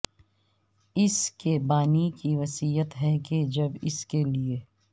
اس کے بانی کی وصیت ہے کہ جب اس کے لیے